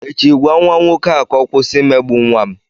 Echi, gwa nwa nwoke a ka ọ kwụsị imegbu nwa m!